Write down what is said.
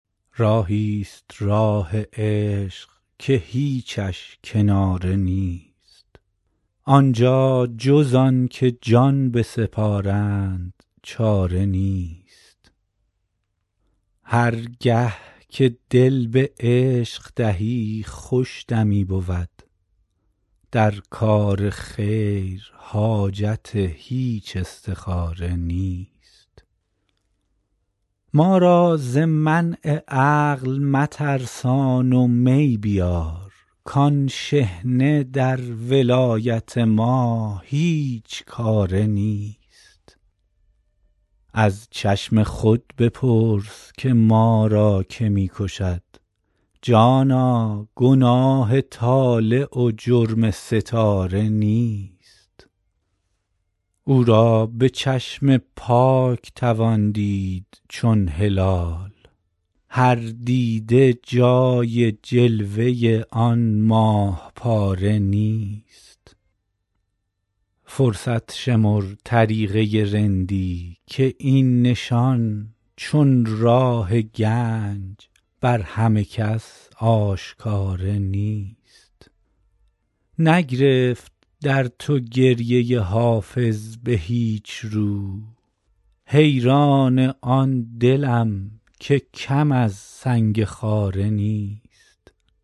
راهی ست راه عشق که هیچش کناره نیست آن جا جز آن که جان بسپارند چاره نیست هر گه که دل به عشق دهی خوش دمی بود در کار خیر حاجت هیچ استخاره نیست ما را ز منع عقل مترسان و می بیار کآن شحنه در ولایت ما هیچ کاره نیست از چشم خود بپرس که ما را که می کشد جانا گناه طالع و جرم ستاره نیست او را به چشم پاک توان دید چون هلال هر دیده جای جلوه آن ماه پاره نیست فرصت شمر طریقه رندی که این نشان چون راه گنج بر همه کس آشکاره نیست نگرفت در تو گریه حافظ به هیچ رو حیران آن دلم که کم از سنگ خاره نیست